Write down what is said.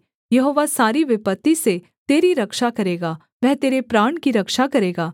यहोवा सारी विपत्ति से तेरी रक्षा करेगा वह तेरे प्राण की रक्षा करेगा